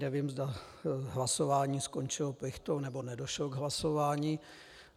Nevím, zda hlasování skončilo plichtou, nebo nedošlo k hlasování.